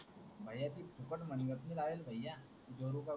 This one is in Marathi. भय्या ती फुकट म्हंटली होती भय्या